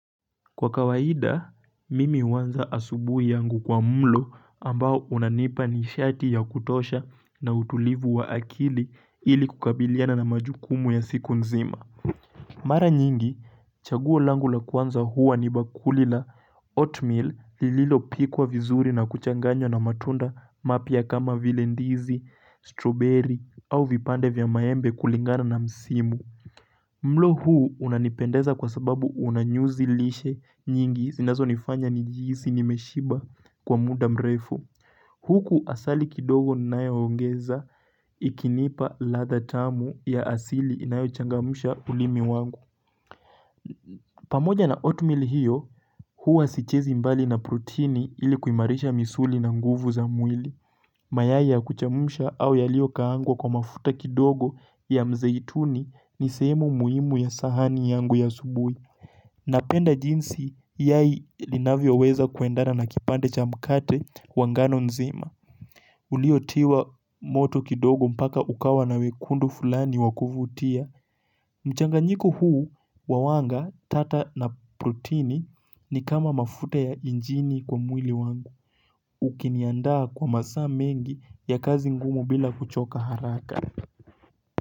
Kwa kawaida, mimi huwanza asubuhi yangu kwa mlo ambao unanipa ni shati ya kutosha na utulivu wa akili ili kukabiliana na majukumu ya siku nzima. Mara nyingi, chaguolangu la kwanza huwa ni bakuli la oatmeal lililo pikwa vizuri na kuchanganywa na matunda mapya kama vile ndizi, strawberry au vipande vya mayembe kulingana na msimu. Mlo huu unanipendeza kwa sababu unanyuzilishe nyingi zinazo nifanya nijihisi nimeshiba kwa muda mrefu. Huku asali kidogo ninae ongeza ikinipa ladha tamu ya asili inayo changamusha ulimi wangu. Pamoja na oatmeal hiyo, huwa sichezi mbali na prutini ilikuimarisha misuli na nguvu za mwili. Mayai kuchemusha au yalio kaangwa kwa mafuta kidogo ya mzeituni ni sehemu muhimu ya sahani yangu ya asubui. Napenda jinsi yai linavyo weza kuendana na kipande cha mkate wangano nzima. Uliotiwa moto kidogo mpaka ukawa na wekundu fulani wakuvutia. Mchanganyiku huu wawanga tata na protini ni kama mafuta ya injini kwa mwili wangu. Ukiniandaa kwa masaa mengi ya kazi ngumu bila kuchoka haraka.